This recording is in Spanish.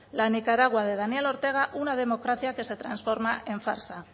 la nicaragua de daniel ortega una democracia que se transforma en farsa